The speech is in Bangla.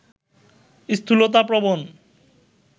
স্থূলতা প্রবণ